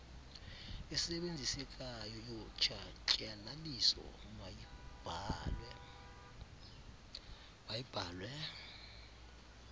esebenzisekayo yotshatyalaliso mayibhalwe